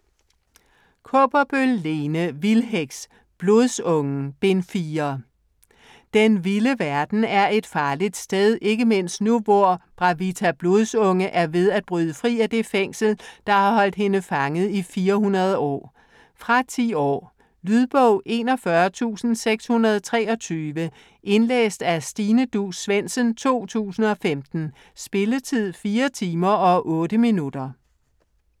Kaaberbøl, Lene: Vildheks: Blodsungen: Bind 4 Den vilde verden er et farligt sted - ikke mindst nu hvor Bravita Blodsunge er ved at bryde fri af det fængsel, der har holdt hende fanget i 400 år. Fra 10 år. Lydbog 41623 Indlæst af Stine Duus Svendsen, 2015. Spilletid: 4 timer, 8 minutter.